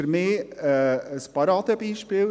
– Für mich ist es ein Paradebeispiel.